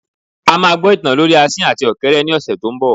A máa gbọ ìtàn lorí asin àti ọ̀kéré ní ọ̀sẹ̀ tó ń bọ.